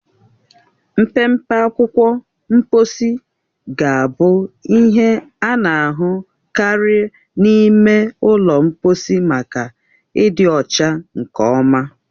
Mpempe akwụkwọ mkposi ga-abụ ihe a na-ahụ karị n'ime ụlọ mkposi maka ịdị ọcha nkeonwe.